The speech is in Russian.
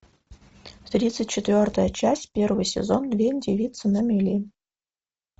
тридцать четвертая часть первый сезон две девицы на мели